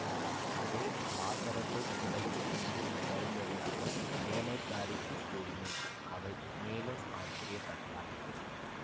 அதே லாசரசை அழைத்து கொண்டு வரும்படியாக வேலைக்காரிக்குக் கூறினேன் அவள் மேலும் ஆச்சரியப்பட்டாள்